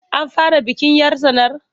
An fara bikin 'yar tsanar?